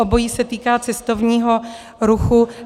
Obojí se týká cestovního ruchu.